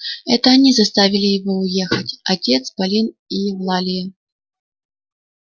это они заставили его уехать отец полин и евлалия